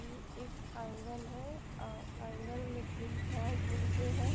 इ एक आंगन हैं आंगन में तीन चार मुर्गे हैं!